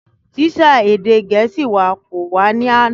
Tísà èdè gẹ̀ẹ́sì wa kò wá ní àná